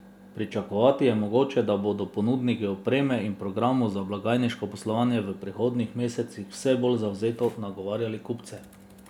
Pričakovati je mogoče, da bodo ponudniki opreme in programov za blagajniško poslovanje v prihodnjih mesecih vse bolj zavzeto nagovarjali kupce.